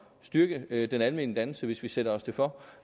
styrke den almene dannelse hvis vi sætter os det for